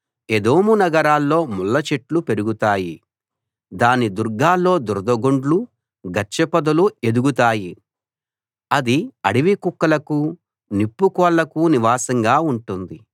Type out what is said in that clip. ఎదోము నగరాల్లో ముళ్లచెట్లు పెరుగుతాయి దాని దుర్గాల్లో దురదగొండ్లు గచ్చపొదలు ఎదుగుతాయి అది అడవికుక్కలకు నిప్పుకోళ్లకు నివాసంగా ఉంటుంది